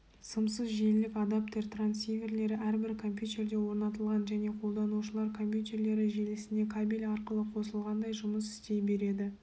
сымсыз желілік адаптер трансиверлері әрбір компьютерде орнатылған және қолданушылар компьютерлері желісіне кабель арқылы қосылғандай жұмыс істей береді